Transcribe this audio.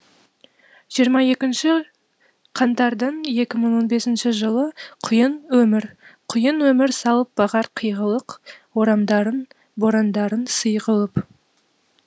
жиырма екінші қаңардың екі мың он бесінші жылында құйын өмір құйын өмір салып бағар қиғылық орамдарын борандарын сый қылып